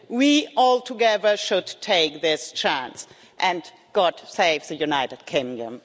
We all, together, should take this chance, and God save the United Kingdom.